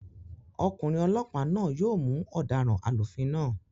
Ọkùnrin olọ́pàá náà yóò mú ọ̀daràn alúfin náà